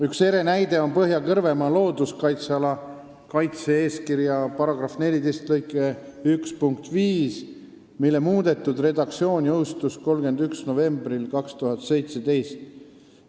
Üks ere näide on Põhja-Kõrvemaa looduskaitseala kaitse-eeskirja § 14 lõike 1 punkt 5, mille muudetud redaktsioon jõustus novembris 2017.